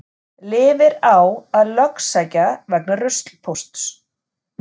Lifir á að lögsækja vegna ruslpósts